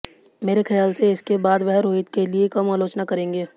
मेरे ख्याल से इसके बाद वह रोहित के लिए कम आलोचना करेंगे